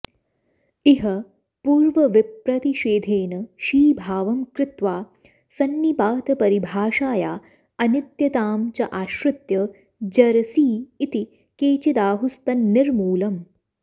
इह पूर्वविप्रतिषेधेन शीभावं कृत्वा संनिपातपरिभाषाया अनित्यतां चाश्रित्य जरसी इति केचिदाहुस्तन्निर्मूलम्